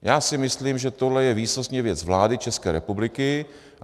Já si myslím, že tohle je výsostně věc vlády České republiky.